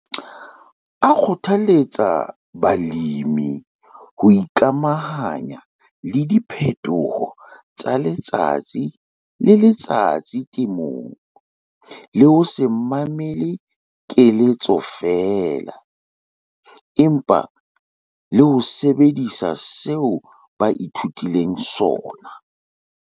A kgothaletsa balemi ho ikamahanya le diphetoho tsa letsatsi le letsatsi temong, le ho se mamele feela keletso, empa le ho sebedisa seo ba ithutileng sona.